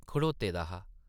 खड़ोते दा हा ।